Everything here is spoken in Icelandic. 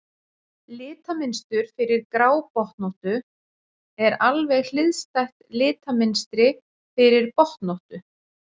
Litamynstur fyrir grábotnóttu er alveg hliðstætt litamynstri fyrir botnóttu.